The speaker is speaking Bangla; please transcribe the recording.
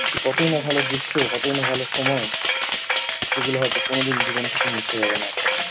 সে কতই না ভালো দৃশ্য কতই না ভালো সময়। যেগুলো হয়তো কোনোদিন জীবন থেকে মোছা যাবে না আর কখনো।